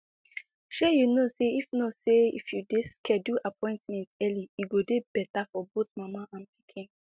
shey you know say if know say if you de schedule appointment early e go de better for both mama and pikin